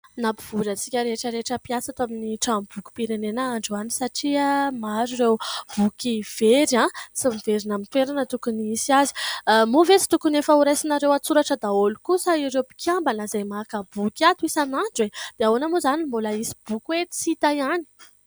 Nampivory antsika rehetra rehetra mpiasa ato amin'ny tranom-bokim-pirenena androany satria maro ireo boky very a ! tsy miverina amin'ny toerana tokony hisy azy. Moa ve tsy tokony efa horaisinareo an-tsoratra daholy kosa ireo mpikiambana izay maka boky ato isan'andro e ? dia ahoana moa izany ny mbola hisy boky tsy hita ihany?